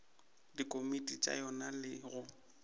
dikomiti tša yona le go